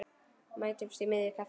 Mætumst í miðju kafi.